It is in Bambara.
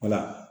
Wala